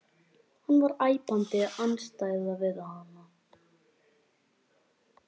Hann var æpandi andstæða við hana.